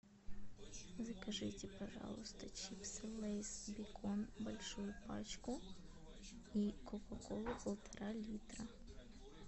закажите пожалуйста чипсы лейс бекон большую пачку и кока колу полтора литра